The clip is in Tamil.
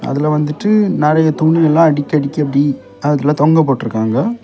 அதுல வந்துட்டு நறைய துணி எல்லா அடுக்கி அடுக்கி அப்டி அதுல தொங்க போட்ருக்காங்க.